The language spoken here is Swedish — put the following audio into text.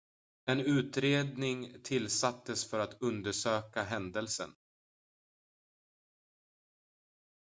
en utredning tillsattes för att undersöka händelsen